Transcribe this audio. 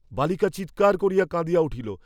বালিকা চীৎকার করিয়া কাঁদিয়া উঠিল।